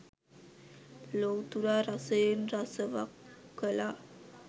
ලොව්තුරා රසයෙන් රසවක් කළා.